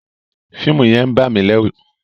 Fíìmù yẹn ń bà mí lẹ́ru.